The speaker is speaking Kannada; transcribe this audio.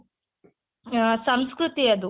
ಸಂಸ್ಕೃತಿ ಅದು